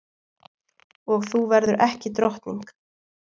Og þú verður ekki drottning.